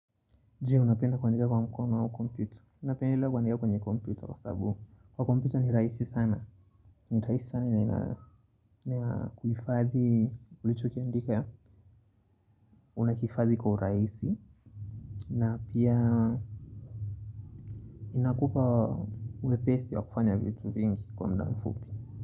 Je, unapenda kuandika kwa mkono au komputa Unapendelea kuandika kwenye komyuta Kwa sababu kwa komputa ni rahisi sana ni rahisi sana ina kuifadhi ulichokiandika una kifashi kwa urahisi na pia inakupa uwepesi wa kufanya vitu vingi kwa mda amfupi.